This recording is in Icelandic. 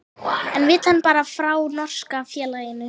En vill hann fara frá norska félaginu?